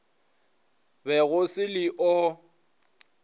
be go se le o